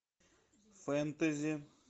фэнтези